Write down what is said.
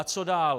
A co dál?